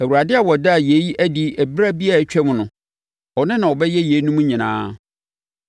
Awurade a ɔdaa yei adi ɛberɛ bi a atwam no, ɔno na ɔbɛyɛ yeinom nyinaa.”